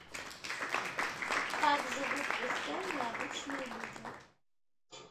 как живут в эстонии обычные люди